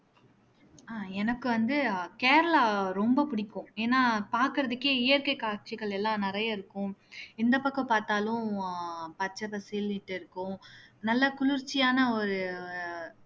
அஹ் எனக்கு வந்து ஆஹ் கேரளா ரொம்ப பிடிக்கும் ஏன்னா பார்க்கிறதுக்கே இயற்கை காட்சிகள் எல்லாம் நிறைய இருக்கும் எந்த பக்கம் பார்த்தாலும் ஆஹ் பச்சை பசேல்னுட்டு இருக்கும் நல்ல குளிர்ச்சியான ஒரு